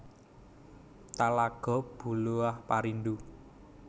Talago Buluah Parindu